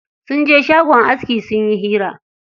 Sun je shagon aski sun yi hira.